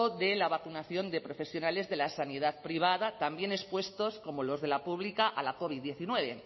de la vacunación de profesionales de la sanidad privada también expuestos como los de la pública a la covid hemeretzi